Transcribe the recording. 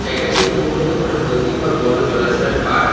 এখানটি সম্ভবত কোন নদী বা বড় জলাশয়ের পার।